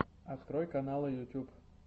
открой каналы ютюб